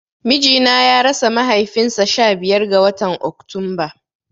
Mijina ya rasa mahaifin sa sha biyar ga watan Oktunba